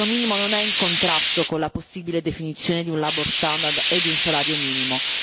Il reddito minimo non è in contrasto con la possibile definizione di un labour standard e di un salario minimo.